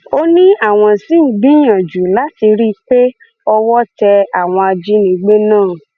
ó ní àwọn ṣì ń gbìyànjú láti rí i pé owó tẹ àwọn ajínigbé náà